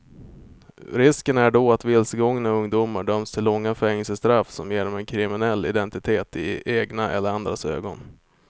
Risken är då att vilsegångna ungdomar döms till långa fängelsestraff som ger dem en kriminell identitet i egna och andras ögon.